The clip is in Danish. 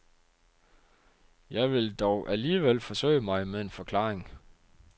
Jeg vil dog alligevel forsøge mig med en forklaring.